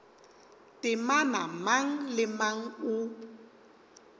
temana mang le mang o